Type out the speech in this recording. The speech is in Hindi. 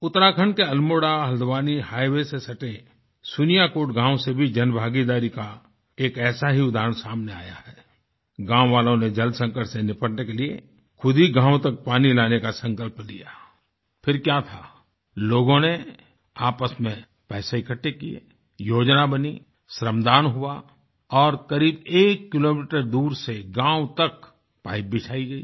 उत्तराखण्ड के अल्मोड़ा हल्द्वानी हाइवे से सटे सुनियाकोट गाँव से भी जनभागीदारी का एक ऐसा ही उदाहरण सामने आया है आई गाँव वालों ने जल संकट से निपटने के लिए खुद ही गाँव तक पानी लाने का संकल्प लिया आई फिर क्या था लोगों ने आपस में पैसे इकट्ठे किये योजना बनी श्रमदान हुआ और करीब एक किलोमीटर दूर से गाँव तक पाईप बिछाई गई